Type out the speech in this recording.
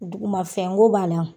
Duguma fɛn ko b'a la.